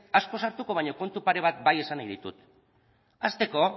asko sartuko baina kontu pare bat bai esan nahi ditut hasteko